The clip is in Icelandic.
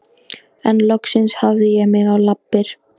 En loksins hafði ég mig á lappir.